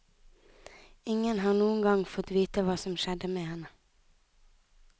Ingen har noen gang fått vite hva som skjedde med henne.